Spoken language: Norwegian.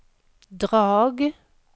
Drag